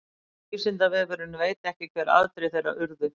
vísindavefurinn veit ekki hver afdrif þeirra urðu